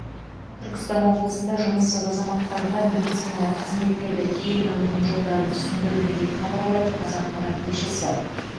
түркістан облысында жұмыссыз азаматтарға медициналық қызметтерді тегін алудың жолдары түсіндірілді деп хабарлайды қазақпарат тілшісі